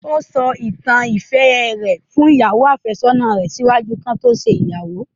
O sọ àwọn ìtàn ìfẹ rẹ fun ìyàwo-àfésónà rẹ ṣaaju ki wọn to ṣe igbeyawo